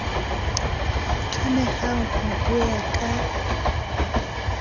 tlamehang ho ho ya ka